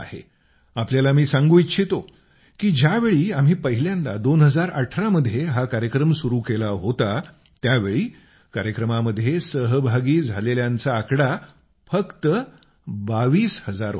आपल्याला मी सांगू इच्छितो की ज्यावेळी आम्ही पहिल्यांदा 2018 मध्ये हा कार्यक्रम सुरू केला होता त्यावेळी कार्यक्रमामध्ये सहभागी झालेल्यांचा आकडा फक्त 22000 होता